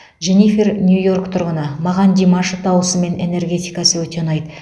дженифер нью йорк тұрғыны маған димаш дауысы мен энергетикасы өте ұнайды